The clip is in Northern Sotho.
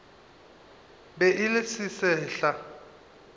be e le se sesehla